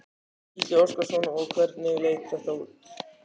Gísli Óskarsson: Og hvernig leit þetta út?